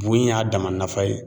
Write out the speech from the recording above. Mun y'a dama nafa ye